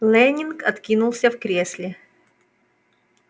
лэннинг откинулся в кресле